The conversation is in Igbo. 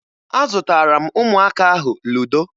Azụtara m ụmụaka ahụ ludo